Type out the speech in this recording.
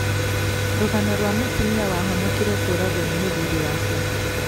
Rũgano rwa mũtumia wahonokire kũũragwo nĩ mũthuri wake